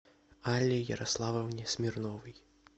алле ярославовне смирновой